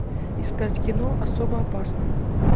искать кино особо опасна